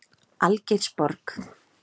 Algeirsborg